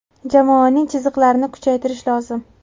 Jamoaning chiziqlarini kuchaytirish lozim.